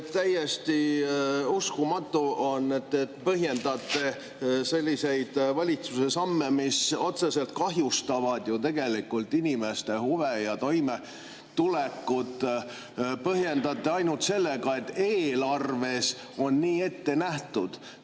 Täiesti uskumatu on, et te põhjendate valitsuse selliseid samme, mis otseselt kahjustavad ju inimeste huve ja toimetulekut, ainult sellega, et eelarves on nii ette nähtud.